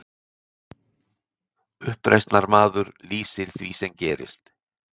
Uppreisnarmaður lýsir því sem gerðist